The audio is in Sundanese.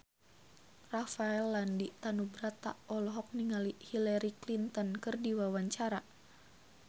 Rafael Landry Tanubrata olohok ningali Hillary Clinton keur diwawancara